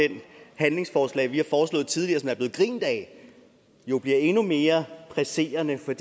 handlingsforslag vi har foreslået tidligere der er blevet grint af bliver endnu mere presserende for